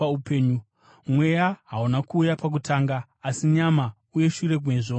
Mweya hauna kuuya pakutanga, asi nyama, uye mushure mezvo mweya.